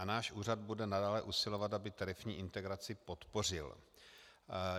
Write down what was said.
A náš úřad bude nadále usilovat, aby tarifní integraci podpořil.